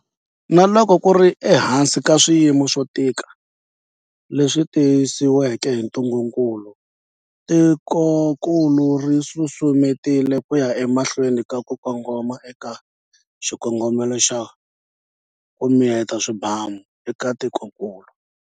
Na loko ku ri ehansi ka swiyimo swo tika leswi tisiweke hi ntungukulu, tikokulu ri susumetile ku ya emahlweni na ku kongoma eka xikongomelo xa, ku miyeta swibamu eka tikokulu.